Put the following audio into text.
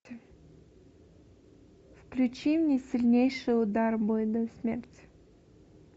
включи мне сильнейший удар бой до смерти